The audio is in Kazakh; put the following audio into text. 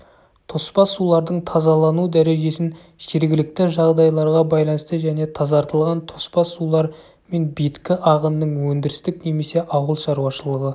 тоспа сулардың тазалану дәрежесін жергілікті жағдайларға байланысты және тазартылған тоспа сулар мен беткі ағынның өндірістік немесе ауыл шаруашылығы